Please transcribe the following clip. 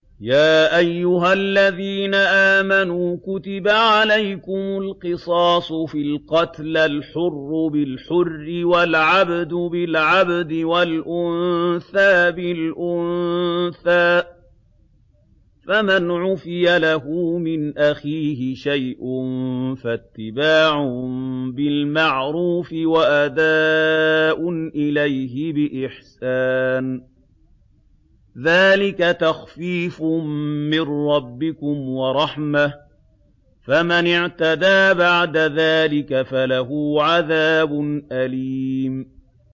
يَا أَيُّهَا الَّذِينَ آمَنُوا كُتِبَ عَلَيْكُمُ الْقِصَاصُ فِي الْقَتْلَى ۖ الْحُرُّ بِالْحُرِّ وَالْعَبْدُ بِالْعَبْدِ وَالْأُنثَىٰ بِالْأُنثَىٰ ۚ فَمَنْ عُفِيَ لَهُ مِنْ أَخِيهِ شَيْءٌ فَاتِّبَاعٌ بِالْمَعْرُوفِ وَأَدَاءٌ إِلَيْهِ بِإِحْسَانٍ ۗ ذَٰلِكَ تَخْفِيفٌ مِّن رَّبِّكُمْ وَرَحْمَةٌ ۗ فَمَنِ اعْتَدَىٰ بَعْدَ ذَٰلِكَ فَلَهُ عَذَابٌ أَلِيمٌ